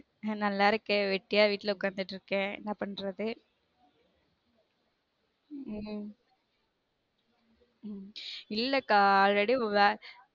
நான் நல்லா இருக்கேன் வெட்டியா வீட்ல உக்காந்துட்டு இருக்கன் என்ன பண்றது ஹம் இல்ல கா already வேல